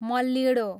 मल्लिडोँ